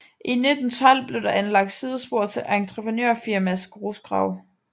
I 1912 blev der anlagt sidespor til et entreprenørfirmas grusgrav